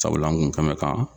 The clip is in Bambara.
Sabula n kun bɛ kan.